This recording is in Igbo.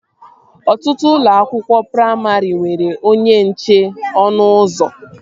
Ọtụtụ ụlọ akwụkwọ praimarị nwere onye nche ọnụ ụzọ